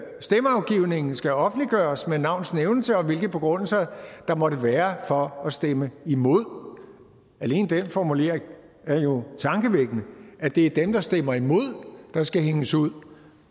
stemmeafgivningen skal offentliggøres med navns nævnelse og hvilke begrundelser der måtte være for at stemme imod alene den formulering er jo tankevækkende at det er dem der stemmer imod der skal hænges ud